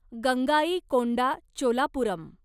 Gangaikonda Cholapuram